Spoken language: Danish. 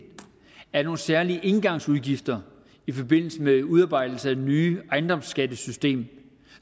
er nogle særlige engangsudgifter i forbindelse med udarbejdelse af det nye ejendomsskattesystem